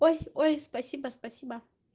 ой ой спасибо спасибо